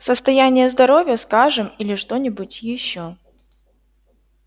состояние здоровья скажем или что-нибудь ещё